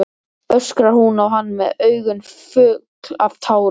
öskrar hún á hann með augun full af tárum.